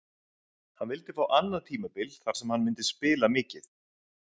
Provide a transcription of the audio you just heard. Hann vildi fá annað tímabil þar sem hann myndi spila mikið.